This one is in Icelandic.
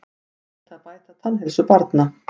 Brýnt að bæta tannheilsu barna